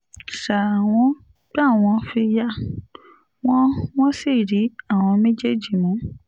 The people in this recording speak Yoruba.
ṣá wọn gbá wọn fi yá wọn wọ́n sì rí àwọn méjèèjì mú